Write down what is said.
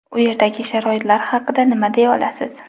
U yerdagi sharoitlar haqida nima deya olasiz?